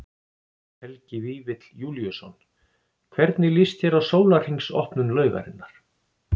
Helgi Vífill Júlíusson: Hvernig líst þér á sólarhrings opnun laugarinnar?